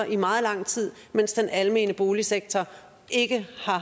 i meget lang tid mens den almene boligsektor ikke